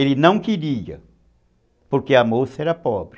Ele não queria, porque a moça era pobre.